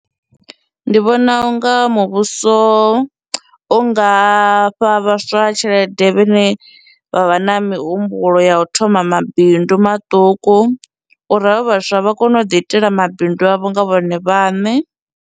Ndi vhona unga muvhuso u nga fha vhaswa tshelede vhane vha vha na mihumbulo ya u thoma mabindu maṱuku uri havho vhaswa vha kone u ḓi itela mabindu avho nga vhone vhaṋe.